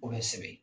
O bɛ sɛbɛn